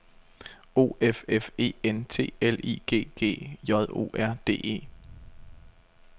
O F F E N T L I G G J O R D E